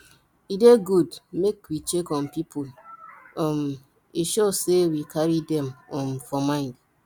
e dey good make we check on people um e show sey we carry dem um for mind